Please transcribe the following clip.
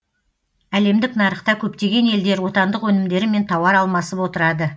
әлемдік нарықта көптеген елдер отандық өнімдерімен тауар алмасып отырады